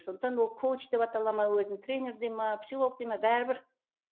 сондықтан ол коуч деп атала ма өзін тренер дей ме психолог дей ме бәрібір